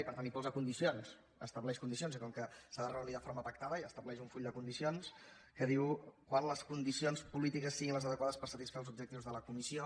i per tant hi posa condicions estableix condicions i com que s’ha de reunir de forma pactada i estableix un full de condicions que diu quan les condicions polítiques siguin les adequades per satisfer els objectius de la comissió